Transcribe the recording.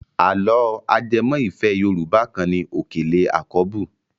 Àlọ́ ajẹmọ́ ìfẹ́ Yorùbá kan ni Òkèlè àkọ́bù.